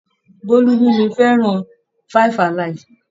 Bólú mú mi fẹ́ràn jẹ́ kí n fẹ́ràn 5-alive.